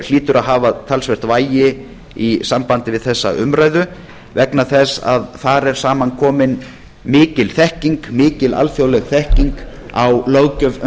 hlýtur að hafa talsvert vægi í sambandi við þessa umræðu vegna þess að þar er saman komin mikil þekking mikil alþjóðleg þekking á löggjöf um